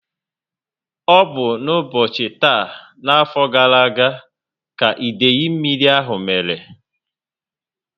Ọ bu n'ubochi taa n'afọ gara aga, ka idei mmírí ahụ mmere